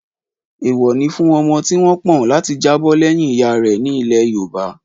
Èèwọ̀ ni fún ọmọ tí wọ́n pọ̀n láti jábọ̀ lẹ́yìn ìyá rẹ̀ ní ilẹ̀ yoòbá